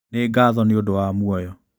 Nĩ ngatho nĩ ũndũ wa muoyo.